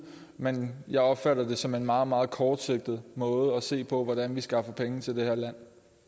men jeg opfatter det som en meget meget kortsigtet måde at se på hvordan vi skaffer penge til det her land